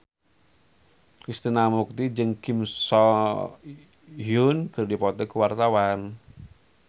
Krishna Mukti jeung Kim So Hyun keur dipoto ku wartawan